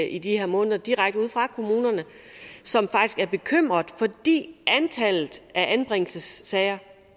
i de her måneder direkte ude fra kommunerne som faktisk er bekymrede fordi antallet af anbringelsessager